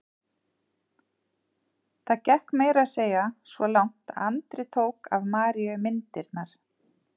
Það gekk meira að segja svo langt að Andri tók af Maríu myndirnar.